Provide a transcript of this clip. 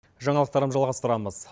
жаңалықтарым жалғастырамыз